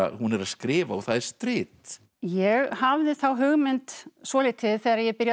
hún er að skrifa og það er strit ég hafði þá hugmynd svolítið þegar ég byrjaði